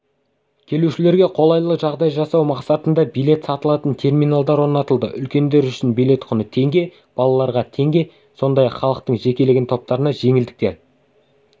келушілерге қолайлы жағдай жасау мақсатында билет салыталатын терминалдар орнатылды үлкендер үшін билет құны теңге балалаларға теңге сондай-ақ халықтың жекелеген топтарына жеңілдіктер